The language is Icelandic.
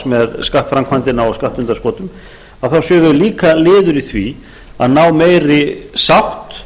með skattframkvæmdina á skattundanskotum séu þau líka liður í því að ná meiri sátt